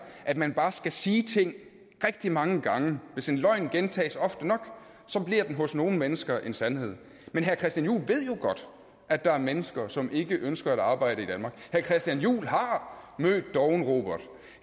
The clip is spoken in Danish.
at man bare skal sige ting rigtig mange gange og hvis en løgn gentages ofte nok så bliver den hos nogle mennesker en sandhed men herre christian juhl ved jo godt at der er mennesker som ikke ønsker at arbejde herre christian juhl har mødt dovne robert og